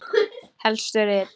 Helstu rit